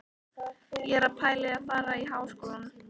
Ég er að pæla í að fara í Háskólann.